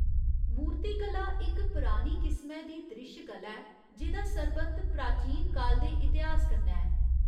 मूर्तिकला इक परानी किसमै दी द्रिश्श कला ऐ जेह्दा सरबंध प्राचीन काल दे इतिहास कन्नै ऐ।